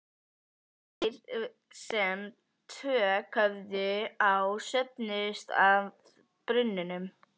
Þeir sem tök höfðu á söfnuðust að brunnunum.